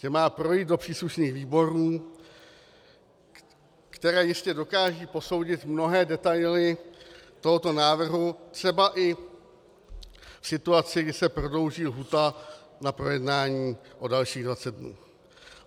Že má projít do příslušných výborů, které jistě dokážou posoudit mnohé detaily tohoto návrhu, třeba i situaci, kdy se prodlouží lhůta na projednání o dalších 20 dnů.